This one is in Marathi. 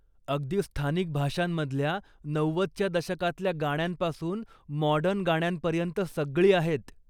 अगदी स्थानिक भाषांमधल्या नव्वदच्या दशकातल्या गाण्यांपासून मॉडर्न गाण्यांपर्यंत सगळी आहेत.